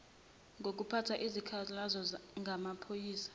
ngokuphatha izikhalazo ngamaphoyisa